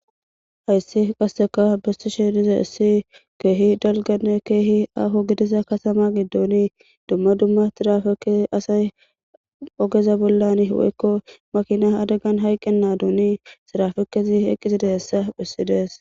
Ayssi qasseka besti sheediza issi keehi dalgane keehi aaho gidiza kasama giddooni dumma dumma tirafekesi asay ogeza bollani weykko makina adagan hayqqenna duuni sirafekezi eqqiside hessa phissidees.